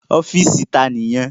Ọ́fìsì ta ni èyí?